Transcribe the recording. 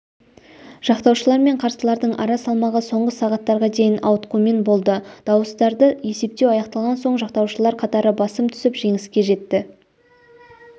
жақтаушылар мен қарсылардың ара салмағы соңғы сағаттарға дейін ауытқумен болды дауыстарды есептеу аяқталған соң жақтаушылардың қатары басым түсіп жеңіске жетті